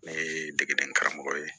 Ne ye degeden karamɔgɔ ye